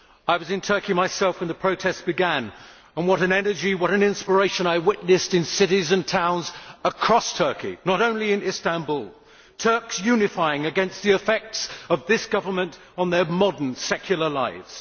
I was in Turkey myself when the protests began, and what an energy, what an inspiration I witnessed in cities and towns across Turkey, not only in Istanbul Turks unifying against the effects of this government on their modern secular lives.